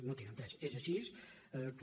no tinc entès és així que